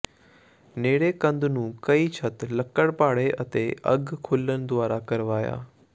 ਨੇੜੇ ਕੰਧ ਨੂੰ ਕਈ ਛੱਤ ਲੱਕੜ ਪਾੜੇ ਅਤੇ ਅੱਗ ਖੁੱਲਣ ਦੁਆਰਾ ਕਰਵਾਇਆ